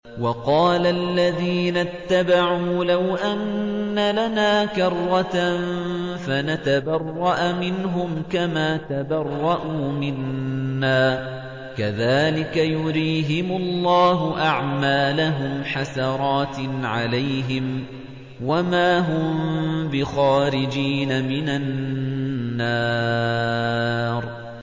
وَقَالَ الَّذِينَ اتَّبَعُوا لَوْ أَنَّ لَنَا كَرَّةً فَنَتَبَرَّأَ مِنْهُمْ كَمَا تَبَرَّءُوا مِنَّا ۗ كَذَٰلِكَ يُرِيهِمُ اللَّهُ أَعْمَالَهُمْ حَسَرَاتٍ عَلَيْهِمْ ۖ وَمَا هُم بِخَارِجِينَ مِنَ النَّارِ